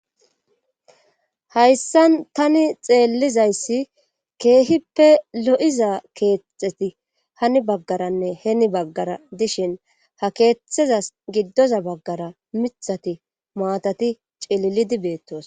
hayssan tani xeellizayssi keehippe lo7iza keexeti hani baggaranne heeni baggara dishin ha keetetheza giddoza baggara mithati maatati cililidi beettoos